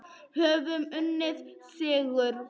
Höfum unnið sigur.